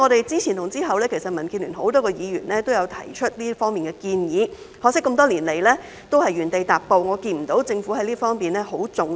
之前和之後，民建聯多位議員也有提出這方面的建議，可惜這麼多年來，也是原地踏步，我看不到政府對這方面十分重視。